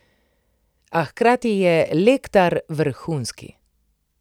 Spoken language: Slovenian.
A hkrati je Lectar vrhunski.